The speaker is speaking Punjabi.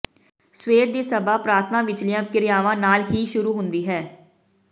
ਸਵੇਰ ਦੀ ਸਭਾ ਪ੍ਰਾਰਥਨਾ ਵਿਚਲੀਆਂ ਕ੍ਰਿਰਿਆਵਾਂ ਨਾਲ ਹੀ ਸ਼ੁਰੂ ਹੁੰਦੀ ਹੈ